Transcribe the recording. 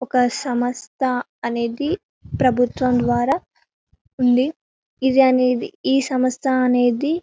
సమస్త అనేది ప్రభుత్వం ద్వారా ఉందిఇది అనేది ఈ సమస్త అనేది--